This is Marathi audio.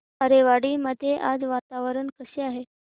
आरेवाडी मध्ये आज वातावरण कसे आहे